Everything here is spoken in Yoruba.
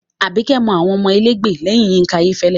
Àbíkẹ́ mọ àwọn elégbè lẹ́yìn Yínká Ayéfẹ́lẹ́